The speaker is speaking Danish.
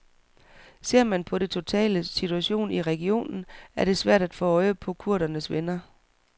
Ser man på den totale situation i regionen er det svært at få øje på kurdernes venner.